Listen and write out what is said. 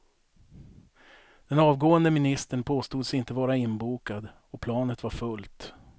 Den avgående ministern påstods inte vara inbokad och planet var fullt.